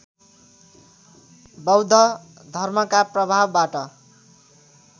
बौद्ध धर्मका प्रभावबाट